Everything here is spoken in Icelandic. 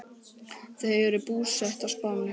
Þau eru búsett á Spáni.